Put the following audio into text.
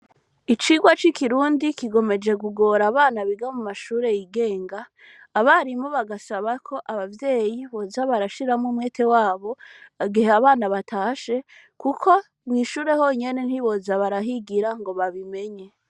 Icirwa c'ikirundi kigomeje gugora abana biga mu mashure yigenga, abarimu bagasaba ko abavyeyi boza barashiramwo umwete wabo agihe abana batashe, kuko mwishure honyene ntiboza barahigira ngo babimenye.